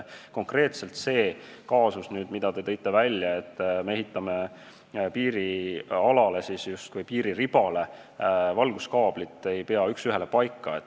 Konkreetselt see kaasus, mille te välja tõite, et me ehitame piirialale, piiriribale valguskaablit, ei pea üks ühele paika.